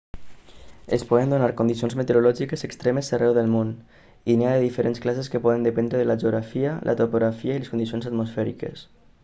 es poden donar condicions meteorològiques extremes arreu del món i n'hi ha de diferents classes que poden dependre de la geografia la topografia i les condicions atmosfèriques